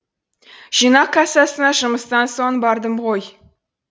жинақ кассасына жұмыстан соң бардым ғой